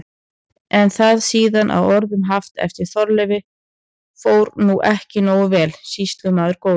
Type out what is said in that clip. Er það síðan að orðum haft eftir Þorleifi: Fór nú ekki nógu vel, sýslumaður góður?